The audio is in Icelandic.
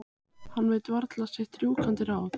Hann veit varla sitt rjúkandi ráð.